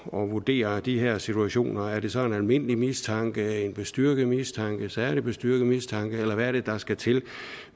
og vurderer de her situationer er det så en almindelig mistanke en bestyrket mistanke en særlig bestyrket mistanke eller hvad er det der skal til